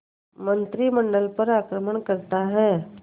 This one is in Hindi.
मंत्रिमंडल पर आक्रमण करता है